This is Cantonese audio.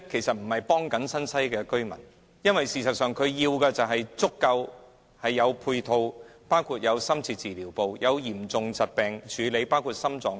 新界西居民需要的，是足夠的配套，包括深切治療部及為治理嚴重疾病而設的病床。